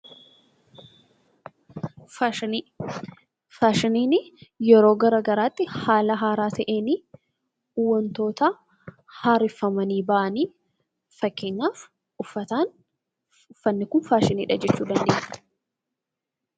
Faashiniin yeroo gara garaatti haala haaraa ta'een, wantoota haareffamanii ba'anii. Fakkeenyaaf uffataan, uffatni kun faashiniidha jechuu dandeenya.